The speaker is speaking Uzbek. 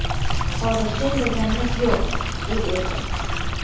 Hozircha indaganimiz yo‘q”, dedi erkak.